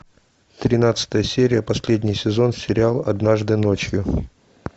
тринадцатая серия последний сезон сериал однажды ночью